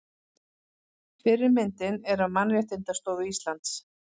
Fyrri myndin er af Mannréttindaskrifstofu Íslands.